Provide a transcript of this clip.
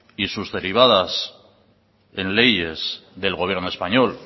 y sus derivadas en leyes del gobierno español